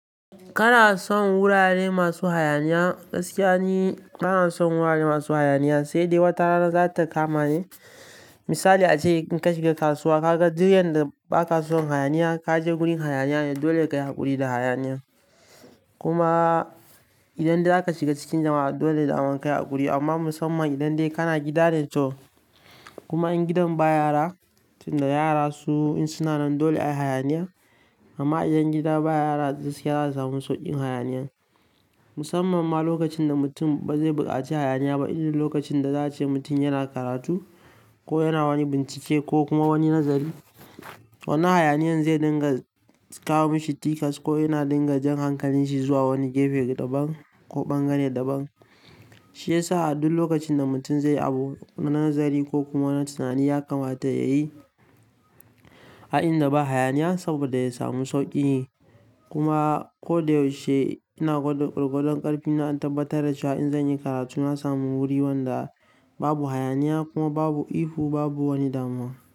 Kana son wurare masu hayaniya, gaskiya ne bana son wurare masu hayaniya, sai dai wata rana za ta kamani. Misali ace in ka shiga kasuwa ka ga duk yanda ba ka kason hayaniya, ka je gurin hayaniya ne, dole ka yi haƙuri da hayaniya. Kuma idan dai zaka shiga cikin jama'a dole zamu kai aƙuri. Amma musamman idan dai kana gida dai to, kuma in gidan ba yara, tunda yara su in suna nan dole ai hayaniya. Amma idan gida ba yara gaskiya za mu sauƙin hayaniya. Musamman ma lokacin da mutum ba zai buƙaci hayaniya ba, inda lokacin da za a ce mutum yana karatu ko yana wani bincike ko kuma wani nazari, wannan hayaniyan zai dinga kawo mishi tikas ko yana dinga jan hankalin shi zuwa wani gefe daban ko bangare daban. Shi yasa a duk lokacin da mutum zai abu na nazari ko kuma na tunani ya kamata ya yi a inda ba hayaniya saboda ya samu sauƙi. Kuma ko da yaushe ina gwada ƙwaƙwalwar ƙarfina in tabbatar da cewa in zan yi karatu na sami wuri wanda babu hayaniya kuma babu ihu, babu wani damuwa.